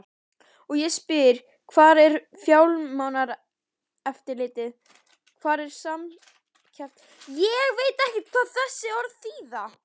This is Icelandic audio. Og ég spyr hvar er Fjármálaeftirlitið, hvar er Samkeppniseftirlitið?